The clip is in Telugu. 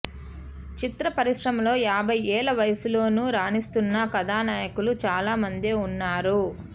చిత్ర పరిశ్రమలో యాభై ఏళ్ల వయసులోనూ రాణిస్తున్న కథానాయకులు చాలా మందే ఉన్నారు